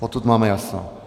Potud máme jasno.